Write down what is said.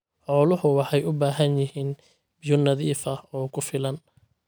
Xooluhu waxay u baahan yihiin biyo nadiif ah oo ku filan.